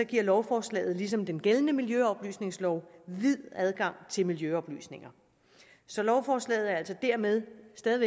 giver lovforslaget ligesom den gældende miljøoplysningslov vid adgang til miljøoplysninger så lovforslaget er altså dermed stadig